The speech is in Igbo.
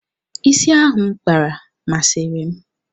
Ịsị ahụ M kpara, masịrị m.